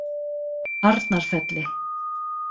Arnarfelli